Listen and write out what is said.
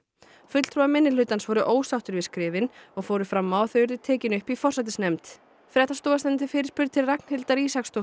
fulltrúar minnihlutans voru ósáttir við skrifin og fóru fram á að þau yrðu tekin upp í forsætisnefnd fréttastofa sendi fyrirspurn til Ragnhildar